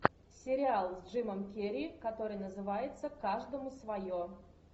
сериал с джимом керри который называется каждому свое